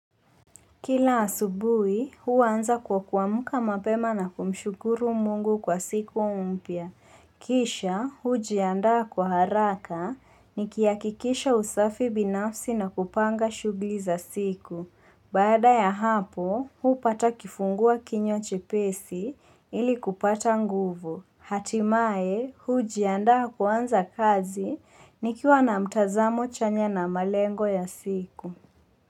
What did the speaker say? Kila asubuhi, huwa anza kwa kuamka mapema na kumshukuru mungu kwa siku mpya. Kisha, hujianda kwa haraka, nikiakikisha usafi binafsi na kupanga shughuli za siku. Baada ya hapo, hupata kifungua kinywa chepesi ili kupata nguvu. Hatimae, hujianda kuanza kazi, nikiwa na mtazamo chanya na malengo ya siku.